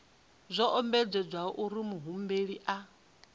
zwo ombedzelwa uri muhumbeli a